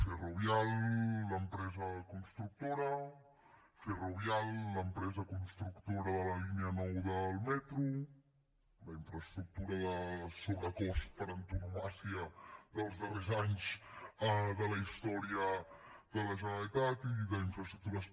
ferrovial l’empresa constructora ferrovial l’empresa constructora de la línia nou del metro la infraestructura de sobrecost per antonomàsia dels darrers anys de la història de la generalitat i d’infraestructures